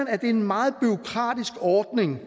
er en meget bureaukratisk ordning